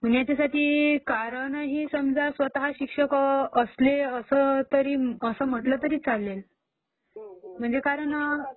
म ह्याच्यासाठी कारणही समजा स्वतः सिक्षक असले असं म्हटलं तरी नाही चालेल...कारण हा